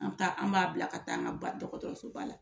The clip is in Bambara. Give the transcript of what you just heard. An ta, an b'a bila ka taa an ka dɔgɔtɔrɔso ba la.